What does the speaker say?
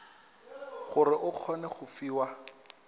gore o kgone go fiwa